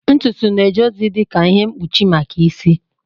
Ntutu na-eje ozi dị ka ihe mkpuchi maka isi.